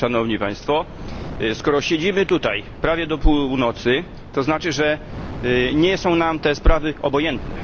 Szanowni Państwo! Skoro siedzimy tutaj prawie do północy, to znaczy, że nie są nam te sprawy obojętne.